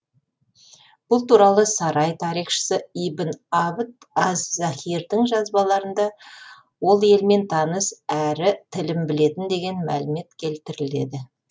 бұл туралы сарай тарихшысы ибн абд аз захирдің жазбаларында ол елмен таныс әрі тілін білетін деген мәлімет келтіріледі